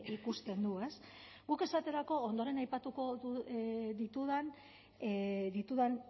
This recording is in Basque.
ikusten du ez guk esaterako ondoren aipatuko ditudan